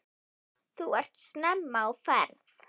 Þú ert snemma á ferð!